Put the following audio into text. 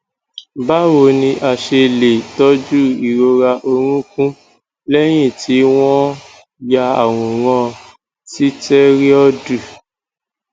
báwo ni a ṣe lè tọjú ìrora orúnkún lẹyìn tí wọn ya àwòrán sitẹriọdu